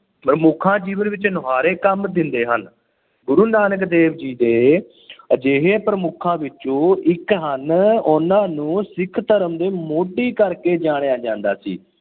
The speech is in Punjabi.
ਮਹਾਂਪੁਰਖਾਂ ਜੀਵਨ ਵਿੱਚ ਮੁਨਾਰੇ ਕੰਮ ਦਿੰਦੇ ਹਨ। ਗੁਰੂ ਨਾਨਕ ਦੇਵ ਜੀ ਦੇ ਅਜਿਹੇ ਪ੍ਰਮੁੱਖਾਂ ਵਿੱਚੋਂ ਇੱਕ ਹਨ। ਉਹਨਾਂ ਨੂੰ ਸਿੱਖ ਧਰਮ ਦੇ ਮੋਢੀ ਕਰਕੇ ਜਾਣਿਆ ਜਾਂਦਾ ਸੀ।